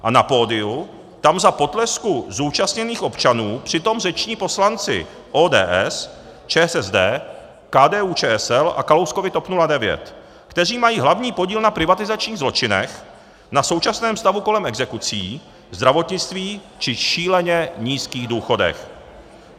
A na pódiu tam za potlesku zúčastněných občanů přitom řeční poslanci ODS, ČSSD, KDU-ČSL a Kalouskovy TOP 09, kteří mají hlavní podíl na privatizačních zločinech, na současném stavu kolem exekucí, zdravotnictví či šíleně nízkých důchodech.